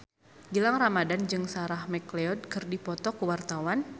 Gilang Ramadan jeung Sarah McLeod keur dipoto ku wartawan